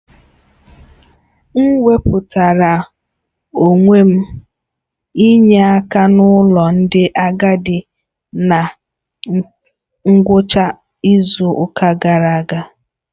M wepụtara onwe m inye akan'ụlọ ndị agadi na ngwụcha izu ụka gara aga.